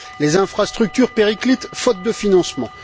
Les infrastructures périclitent faute de financement.